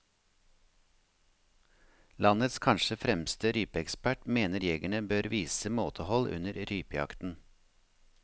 Landets kanskje fremste rypeekspert mener jegerne bør vise måtehold under rypejakten.